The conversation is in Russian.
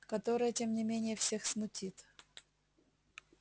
которое тем не менее всех смутит